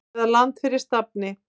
eða Land fyrir stafni.